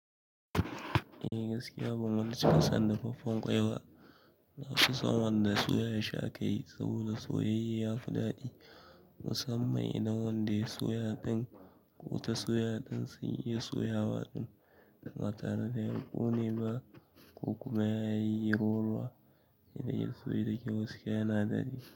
Eh gaskiya ban wani cika son dafaffen ƙwaiba, na fi son wanda soyahi akayi saboda soyayye ya fi ɗaɗi. Musamman idan wanda ya soya ɗin, wuta soya ɗin sai ya soya waɗin, ba tare da ya ƙone ba ko kuma yayi rolwa idan ya soyu da kyau, gaskiya yana daɗi.